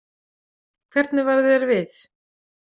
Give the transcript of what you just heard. Hvernig varð þér við?